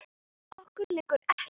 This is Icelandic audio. Okkur liggur ekkert á